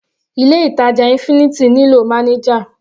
Ilé ìtàjà infinity nílò manager.